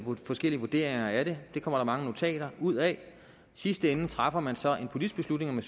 med forskellige vurderinger af det det kommer der mange notater ud af i sidste ende træffer man så en politisk beslutning om